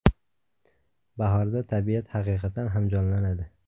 Bahorda tabiat haqiqatan ham jonlanadi.